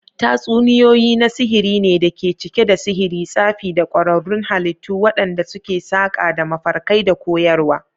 Tatsuniyoyi na sihiri ne da ke cike da sihiri, tsafi, da ƙwararrun halittu waɗanda suke saƙa da mafarkai da koyarwa.